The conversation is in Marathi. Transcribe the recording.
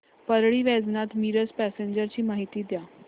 परळी वैजनाथ मिरज पॅसेंजर ची माहिती द्या